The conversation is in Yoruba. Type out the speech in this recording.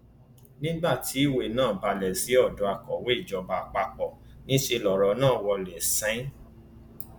nígbà tí ìwé náà balẹ sí odò akọwé ìjọba àpapọ níṣẹ lọrọ nà wọlé sẹnẹn